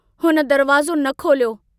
हुन दरवाज़ो न खोलियो।